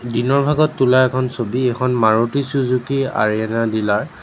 দিনৰ ভাগত তোলা এখন ছবি এখন মাৰুতি ছুজুকি আৰিআনা ৰ ডিলাৰ ।